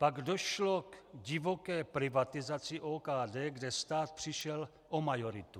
Pak došlo k divoké privatizaci OKD, kde stát přišel o majoritu.